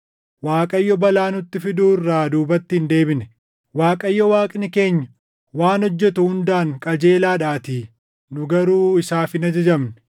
Waaqayyo balaa nutti fiduu irraa duubatti hin deebine; Waaqayyo Waaqni keenya waan hojjetu hundaan qajeelaadhaatii; nu garuu isaaf hin ajajamne.